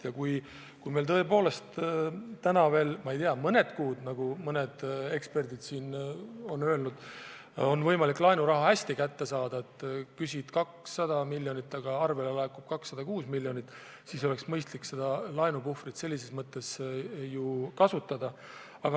Kui meil tõepoolest on veel mõned kuud, nagu mõned eksperdid on öelnud, võimalik laenuraha kergelt kätte saada – küsid 200 miljonit, aga arvele laekub 206 miljonit –, siis oleks mõistlik seda laenupuhvrit kasutada.